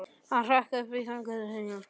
Hann hrökk upp úr þönkum sínum.